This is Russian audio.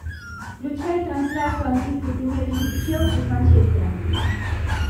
включай трансляцию английской премьер лиги челси с манчестером